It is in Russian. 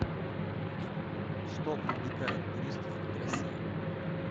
что привлекает туристов в россии